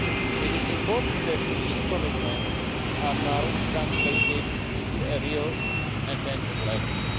It is important that these commitments are now translated into real and tangible actions.